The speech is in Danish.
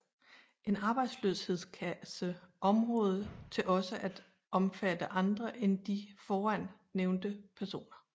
En arbejdsløshedskasse område til også at omfatte andre end de foran nævnte personer